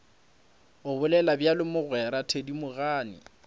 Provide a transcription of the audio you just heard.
o bolela bjalo mogwera thedimogane